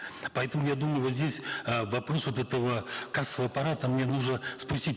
поэтому я думаю вот здесь э вопрос вот этого кассового аппарата мне нужно спустить